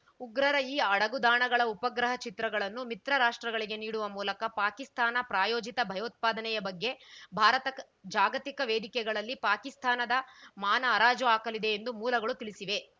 ಉಗ್ರರ ಈ ಅಡುಗುದಾಣಗಳ ಉಪಗ್ರಹ ಚಿತ್ರಗಳನ್ನು ಮಿತ್ರ ರಾಷ್ಟ್ರಗಳಿಗೆ ನೀಡುವ ಮೂಲಕ ಪಾಕಿಸ್ತಾನ ಪ್ರಾಯೋಜಿತ ಭಯೋತ್ಪಾದನೆಯ ಬಗ್ಗೆ ಭಾರತ ಕ ಜಾಗತಿಕ ವೇದಿಕೆಗಳಲ್ಲಿ ಪಾಕಿಸ್ತಾನದ ಮಾನ ಹರಾಜು ಹಾಕಲಿದೆ ಎಂದು ಮೂಲಗಳು ತಿಳಿಸಿವೆ